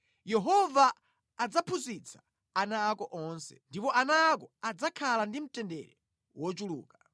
Yehova adzaphunzitsa ana ako onse, ndipo ana ako adzakhala ndi mtendere wochuluka.